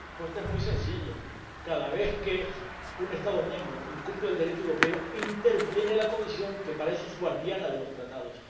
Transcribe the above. La respuesta es muy sencilla. Cada vez que un Estado miembro incumple el Derecho europeo, interviene la Comisión, que para eso es guardiana de los Tratados.